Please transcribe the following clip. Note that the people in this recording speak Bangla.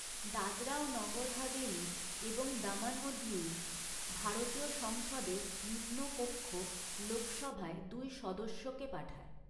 দাদরা ও নগর হাভেলি এবং দমন ও দিউ ভারতীয় সংসদের নিম্নকক্ষ লোকসভায় দুই সদস্যকে পাঠায়।